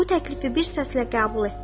Bu təklifi bir səslə qəbul etdilər.